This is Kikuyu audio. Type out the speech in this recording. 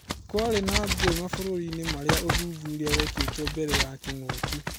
Kũari na ngũĩ mabũrũri-inĩ maria ũthuthuria wekĩrĩtwo mbere ya kĩng'ũki